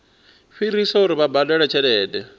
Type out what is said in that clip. fhirisa uri vha badele tshelede